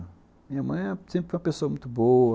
Minha mãe sempre foi uma pessoa muito boa.